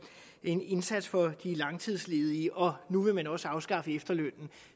en indsats for de langtidsledige og nu vil man også afskaffe efterlønnen